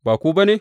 Ba ku ba ne?